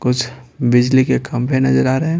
कुछ बिजली के खंभे नजर आ रहे हैं।